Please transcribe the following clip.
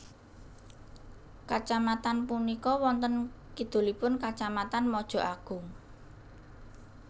Kacamatan punika wonten kidulipun Kacamatan Mojoagung